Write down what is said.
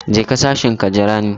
Je ka sashin ka jira ni.